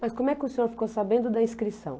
Mas como é que o senhor ficou sabendo da inscrição?